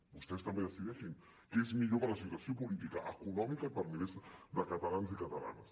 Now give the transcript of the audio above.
vostès també decideixin què és millor per a la situació política econòmica i per a milers de catalans i catalanes